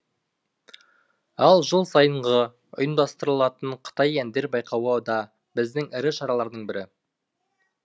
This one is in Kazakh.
ал жыл сайынғы ұйымдастырылатын қытай әндер байқауы да біздің ірі шаралардың бірі